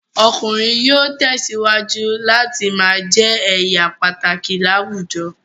Ọkùnrin yóò tẹ̀síwájú láti ma jẹ́ èèyà pàtàkì láwùjọ